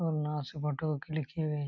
और की photo click किए हुए--